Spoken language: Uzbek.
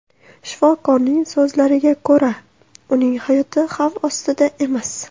Shifokorlarning so‘zlariga ko‘ra, uning hayoti xavf ostida emas.